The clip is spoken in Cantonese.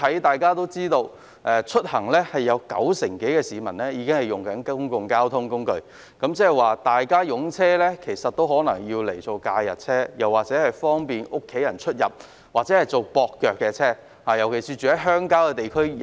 大家都知道，整體而言，九成多香港市民使用公共交通工具出行，換言之，市民的車輛可能只用作假日車，方便家人出入或作接駁用途，特別是居於鄉郊地區的市民。